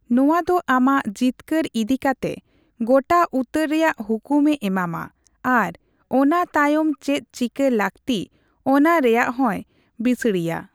ᱱᱚᱣᱟ ᱫᱚ ᱟᱢᱟᱜ ᱡᱤᱛᱠᱟᱹᱨ ᱤᱫᱤᱠᱟᱛᱮ ᱜᱚᱴᱟ ᱩᱛᱟᱹᱨ ᱨᱮᱭᱟᱜ ᱦᱩᱠᱩᱢᱮ ᱮᱢᱟᱢᱟ ᱟᱨ ᱚᱱᱟ ᱛᱟᱭᱚᱢ ᱪᱮᱫ ᱪᱤᱠᱟᱹ ᱞᱟᱹᱠᱛᱤ ᱚᱱᱟ ᱨᱮᱭᱟᱜ ᱦᱚᱸᱭ ᱵᱤᱥᱲᱤᱭᱟ ᱾